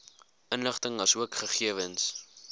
inligting asook gegewens